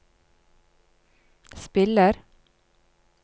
spiller